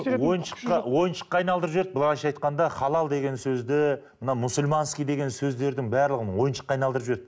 ойыншыққа ойыншыққа айналдырып жіберді былайша айтқанда халал деген сөзді мына мусульманский деген сөздердің барлығын ойыншыққа айналдырып жіберді